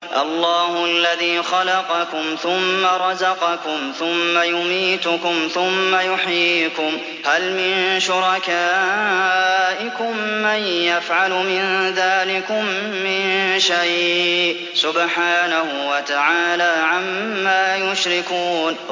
اللَّهُ الَّذِي خَلَقَكُمْ ثُمَّ رَزَقَكُمْ ثُمَّ يُمِيتُكُمْ ثُمَّ يُحْيِيكُمْ ۖ هَلْ مِن شُرَكَائِكُم مَّن يَفْعَلُ مِن ذَٰلِكُم مِّن شَيْءٍ ۚ سُبْحَانَهُ وَتَعَالَىٰ عَمَّا يُشْرِكُونَ